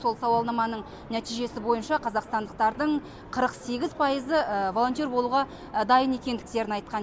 сол сауалнаманың нәтижесі бойынша қазақстандықтардың қырық сегіз пайызы волонтер болуға дайын екендіктерін айтқан